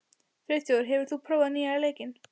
Friðþjófur, hefur þú prófað nýja leikinn?